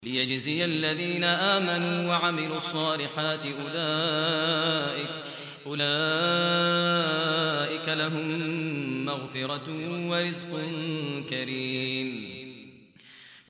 لِّيَجْزِيَ الَّذِينَ آمَنُوا وَعَمِلُوا الصَّالِحَاتِ ۚ أُولَٰئِكَ لَهُم مَّغْفِرَةٌ وَرِزْقٌ كَرِيمٌ